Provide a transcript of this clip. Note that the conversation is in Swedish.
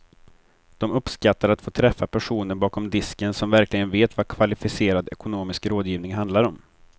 De uppskattar att få träffa personer bakom disken som verkligen vet vad kvalificerad ekonomisk rådgivning handlar om.